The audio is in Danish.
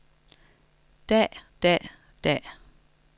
dag dag dag